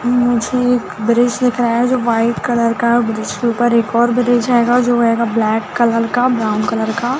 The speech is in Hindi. मुझे एक ब्रिज दिख रहा है जो वाइट कलर का और ब्रिज के ऊपर एक और ब्रिज है गा जो है गा ब्लैक कलर का ब्राउन कलर का--